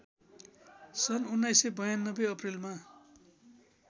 सन् १९९२ अप्रिलमा